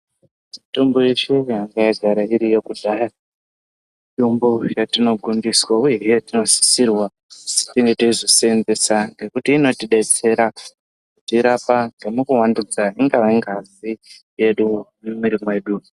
Mutombo yeshe yanga yagara iriyo kudhaya mitombo yatinogondiswa uye he yatinosisirwa tinge teizosenzesa ngekuti inotibetsera kutirapa nemukuwandudza ingava ngazi yedu mumwiri medu.